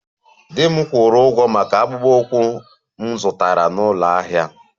Di m kwụrụ ụgwọ maka akpụkpọ ụkwụ m zụtara n'ụlọ ahịa